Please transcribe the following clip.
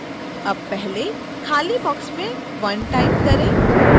अब पहले खाली box में 1 type करें